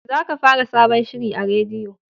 Za ka fara sabon shiri a rediyo!